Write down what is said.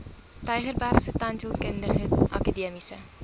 tygerbergse tandheelkundige akademiese